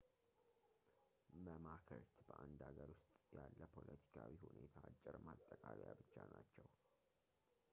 መማክርት በአንድ ሃገር ውስጥ ያለ ፖለቲካዊ ሁኔታ አጭር ማጠቃለያ ብቻ ናቸው